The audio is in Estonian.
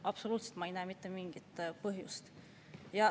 Ma ei näe selleks absoluutselt mitte mingit põhjust.